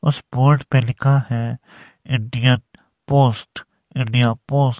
उस बोर्ड पे लिखा है इंडियन पोस्ट इंडिया पोस्ट --